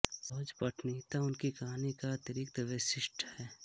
सहज पठनीयता उनकी कहानी का अतिरिक्त वैशिष्ट्य है